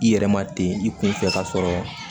I yɛrɛ ma ten i kunfɛ k'a sɔrɔ